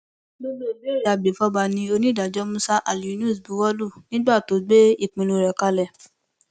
gbogbo ìbéèrè agbèfọba ni onídàájọ musa alyunus buwọ lù nígbà tó ń gbé ìpinnu rẹ kalẹ